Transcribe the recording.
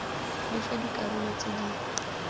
le fa dikarolo tse di